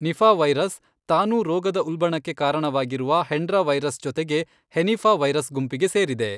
Nipah virus, ತಾನೂ ರೋಗದ ಉಲ್ಬಣಕ್ಕೆ ಕಾರಣವಾಗಿರುವ ಹೆಂಡ್ರಾ ವೈರಸ್ ಜೊತೆಗೆ ಹೆನಿಫಾವೈರಸ್ ಗುಂಪಿಗೆ ಸೇರಿದೆ.